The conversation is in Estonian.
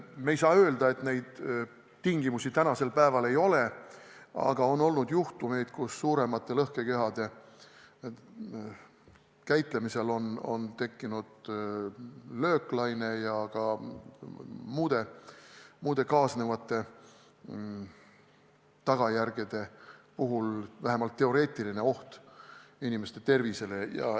Me ei saa öelda, et neid tingimusi praegu veel ei ole, aga on olnud juhtumeid, kus suuremate lõhkekehade käitlemisel on tekkinud lööklaine ja ka muude kaasnevate tagajärgede puhul vähemalt teoreetiline oht inimeste tervisele.